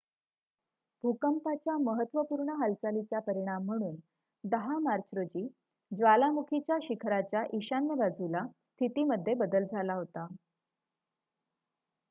भूकंपाच्या महत्त्वपूर्ण हालचालीचा परिणाम म्हणून १० मार्च रोजी ज्वालामुखीच्या शिखराच्या ईशान्य बाजूला स्थितीमध्ये बदल झाला होता